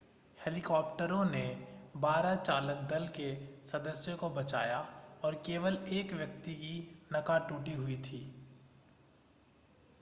हेलीकॉप्टरों ने बारह चालक दल के सदस्यों को बचाया और केवल एक व्यक्ति की नका टूटी हुई थी